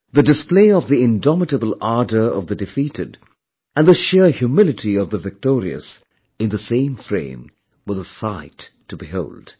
The display of the indomitable ardour of the defeated and the sheer humility of the victorious in the same frame was a sight to behold